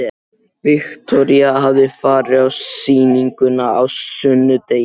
Viktoría hafði farið á sýninguna á sunnudegi.